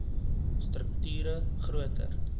strukt ure groter